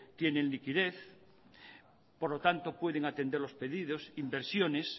tienen liquidez por lo tanto pueden atender los pedidos inversiones